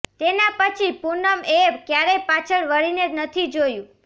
તેના પછી પૂનમ એ ક્યારેય પાછળ વળીને નથી જોયું